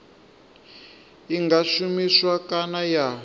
i nga shumiswa kana ya